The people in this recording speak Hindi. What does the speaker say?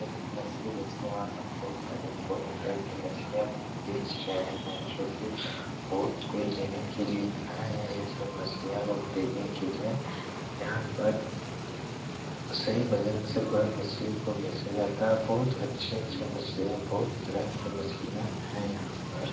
एक मछली बेचने वाला बहुत सारे बहुत तरह के मछलियां बेच रहे हैं जो कि बहुत कोई लेने के लिए आए हैं ये सब मछलियां को खरीदने के लिए यहाँ पर सही वजन से पूरा मछली को बेचा जाता है बहुत अच्छे-अच्छे मछलियाँ बहुत तरह के मछलियां हैं यहाँ पर।